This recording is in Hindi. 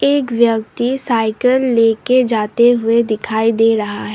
एक व्यक्ति साइकिल ले के जाते हुए दिखाई दे रहा है।